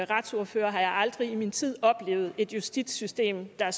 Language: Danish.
retsordfører aldrig i min tid oplevet et justitssystem der